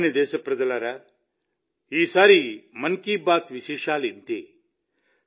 నా ప్రియమైన దేశప్రజలారా ఈసారి మన్ కీ బాత్ విశేషాలింతే